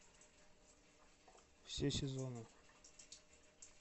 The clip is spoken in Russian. все сезоны